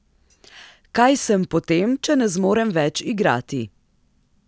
Kaj sem potem, če ne zmorem več igrati?